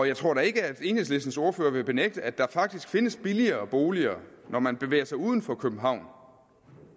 jeg tror da ikke at enhedslistens ordfører vil benægte at der faktisk findes billigere boliger når man bevæger sig uden for københavn